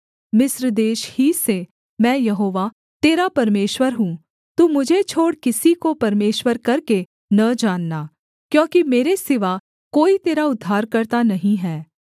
मिस्र देश ही से मैं यहोवा तेरा परमेश्वर हूँ तू मुझे छोड़ किसी को परमेश्वर करके न जानना क्योंकि मेरे सिवा कोई तेरा उद्धारकर्ता नहीं हैं